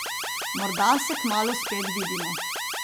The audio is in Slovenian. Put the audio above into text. Morda se kmalu spet vidimo.